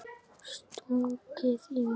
Stungið í mig?